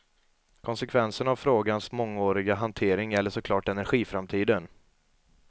Konsekvensen av frågans mångåriga hantering gäller så klart energiframtiden.